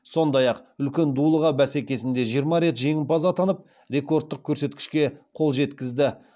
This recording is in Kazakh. сондай ақ үлкен дулыға бәсекесінде жиырма рет жеңімпаз атанып рекордтық көрсеткішке қол жеткізді